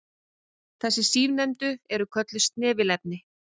Þessi síðarnefndu eru kölluð snefilefni.